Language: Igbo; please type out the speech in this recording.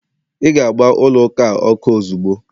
ị ga-agba ụlọ ụka a ọkụ ozugbo